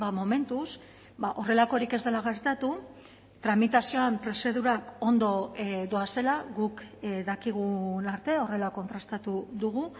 momentuz horrelakorik ez dela gertatu tramitazioan prozedurak ondo doazela guk dakigun arte horrela kontrastatu dugu